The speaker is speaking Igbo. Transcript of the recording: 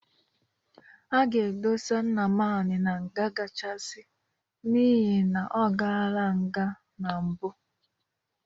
A ga-edosa Nnamani na nga kachasị n'ihe na ọkala nka na mpụ.